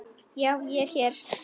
Já, ég er hér.